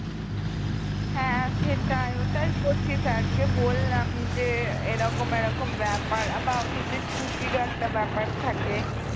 হ্যাঁ সেটাই ওটাই করছি sir কে বললাম যে এরকম এরকম ব্যাপার আবার office এ ছুটিরও একটা ব্যাপার থাকে